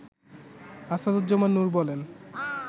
আসাদুজ্জামান নুর বলেন